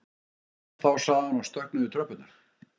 Við sjáumst þá sagði hann og stökk niður tröppurnar.